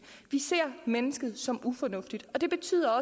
vi ser mennesket som ufornuftigt og det betyder